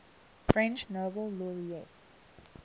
french nobel laureates